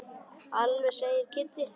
Alveg satt segir Kiddi.